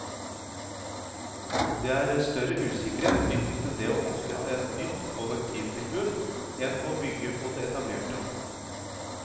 Det er større usikkerhet knyttet til det å opprette et nytt kollektivtilbud enn å bygge på det etablerte.